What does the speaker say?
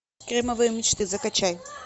кремовые мечты закачай